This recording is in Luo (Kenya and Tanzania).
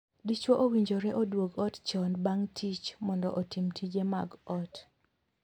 Dichwo owinjore oduog ot chon bang' tich mondo otim tije mag ot.